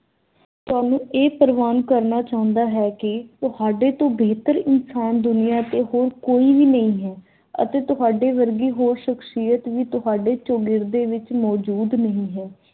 ਇਹ ਪ੍ਰਵਾਨ ਕਰਨਾ ਚਾਹੁੰਦਾ ਹੈ ਕੀ ਤੁਹਾਡੇ ਤੋਂ ਬੇਹਤਰ ਇਨਸਾਨ ਦੁਨੀਆਂ ਤੇ ਹੋਰ ਕੋਈ ਵੀ ਨਹੀਂ ਹੈ ਅਤੇ ਤੁਹਾਡੇ ਵਰਗੀ ਹੋਰ ਸ਼ਖਸ਼ੀਅਤ ਤੁਹਾਡੇ ਚੋਗਿਰਦੇ ਵਿਚ ਮੌਜੂਦ ਨਹੀਂ ਹੈ।